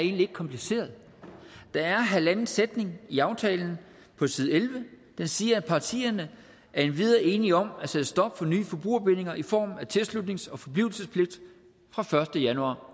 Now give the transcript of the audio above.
egentlig ikke kompliceret der er halvanden sætning i aftalen på side elleve der siger parterne er endvidere enige om at sætte et stop for nye forbrugerbindinger i form af tilslutnings og forblivelsespligt fra første januar